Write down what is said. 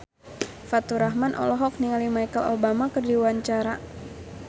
Faturrahman olohok ningali Michelle Obama keur diwawancara